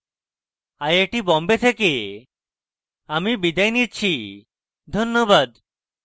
I I T Bombay থেকে আমি বিদায় নিচ্ছি ধন্যবাদ